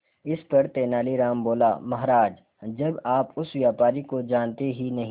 इस पर तेनालीराम बोला महाराज जब आप उस व्यापारी को जानते ही नहीं